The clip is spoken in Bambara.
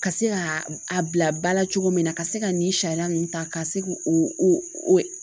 Ka se ka a bila ba la cogo min na ka se ka nin sariya ninnu ta ka se k'o o